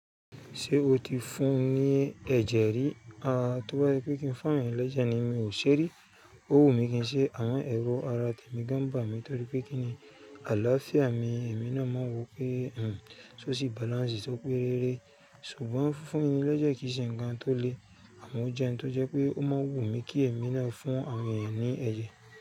Ṣé o ti fún ní ẹ̀jẹ̀ rí? A, tó bá se pé kí n fún àwọn èèyàn lẹjẹ ni mi ò ṣe rí. Ó wù mí kí n ṣe amọ ero ara tèmi gan n bami torí pé kí ni àlàáfíà mi èmi náà máa ń wò pé, hmmm, só sì balance tó pé rere. Ṣùgbọ́n fúnfún ni lẹ́jẹ̀ kì í ṣe ǹkan tó le, àmọ́ ó jẹ n tó jẹ pé ó máa ń wù mí kí èmi náà fún àwọn èèyàn ní ẹ̀jẹ̀.